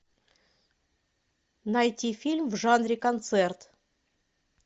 найти фильм в жанре концерт